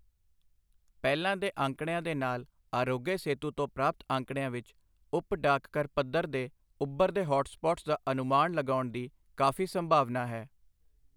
ਪਹਿਲਾਂ ਦੇ ਅੰਕੜਿਆਂ ਦੇ ਨਾਲ ਆਰੋਗਯ ਸੇਤੂ ਤੋਂ ਪ੍ਰਾਪਤ ਅੰਕੜਿਆਂ ਵਿੱਚ ਉਪ ਡਾਕਘਰ ਪੱਧਰ ਤੇ ਉੱਭਰਦੇ ਹੌਟਸਪੌਟਸ ਦਾ ਅਨੁਮਾਨ ਲਗਾਉਣ ਦੀ ਕਾਫ਼ੀ ਸੰਭਾਵਨਾ ਹੈ।